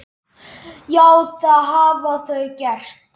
Já, það hafa þau gert.